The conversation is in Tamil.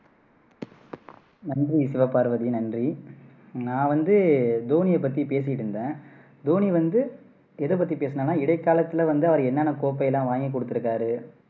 நன்றி சிவபார்வதி நன்றி நான் வந்து தோனியை பத்தி பேசிட்டு இருந்தேன் தோனி வந்து எதை பத்தி பேசுனேன்னா இடைக்காலத்துல வந்து அவர் என்னென்ன கோப்பை எல்லாம் வாங்கி கொடுத்துருக்காரு